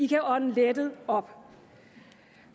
kan ånde lettet op